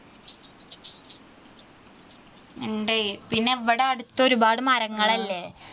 ഉണ്ട് പിന്നെ ഇവിടെ അടുത്ത് ഒരുപാട് മരങ്ങൾ അല്ലേ